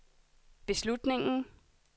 beslutningen